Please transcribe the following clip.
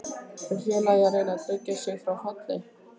Er félagið að reyna að tryggja sig frá falli?